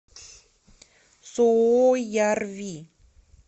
суоярви